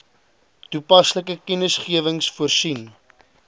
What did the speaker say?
toepaslike kennisgewings voorsien